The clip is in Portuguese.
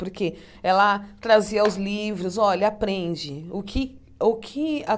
Porque ela trazia os livros, olha, aprende o que o que a